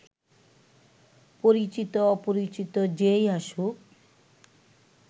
পরিচিত-অপরিচিত যে-ই আসুক